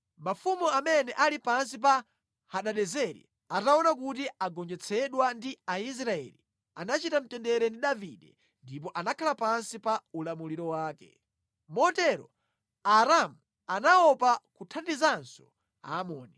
Mafumu amene ali pansi pa Hadadezeri ataona kuti agonjetsedwa ndi Aisraeli, anachita mtendere ndi Davide ndipo anakhala pansi pa ulamuliro wake. Motero Aaramu anaopa kuthandizanso Aamoni.